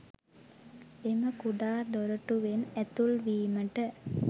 එම කුඩා දොරටුවෙන් ඇතුල්වීමට